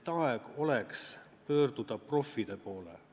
Et aeg oleks pöörduda proffide poole.